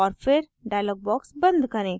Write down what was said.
और फिर dialog box and करें